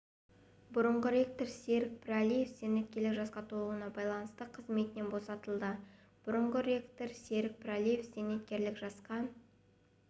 бұрынғы ректор серік пірәлиев зейнеткерлік жасқа толуына байланысты қызметінен босатылды бұрынғы ректор серік пірәлиев зейнеткерлік жасқа